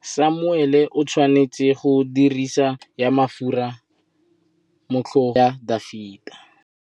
Samuele o tshwanetse go dirisa tlotsô ya mafura motlhôgong ya Dafita.